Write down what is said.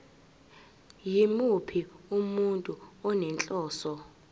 yimuphi umuntu onenhloso